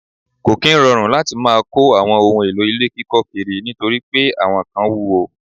Ko kí ń rọrùn láti má kò àwọn ohùn èlò ilé kíkọ kiri nítorí pé àwọn kán wuwo